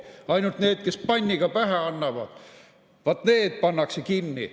Ainult need, kes panniga pähe annavad, vaat need pannakse kinni.